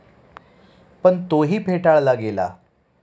पण तोही फेटाळला गेला.